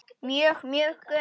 Mjög, mjög gömul.